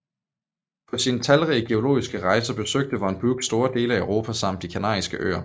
Paå sine talrige geologiske rejser besøgte von Buch store dele af Europa samt de kanariske Øer